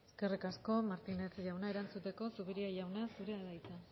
eskerrik asko martínez jauna erantzuteko zupiria jauna zurea da hitza